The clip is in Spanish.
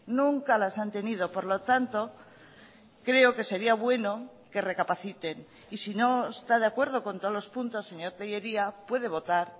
nunca las han tenido por lo tanto creo que sería bueno que recapaciten y si no está de acuerdo con todos los puntos señor tellería puede votar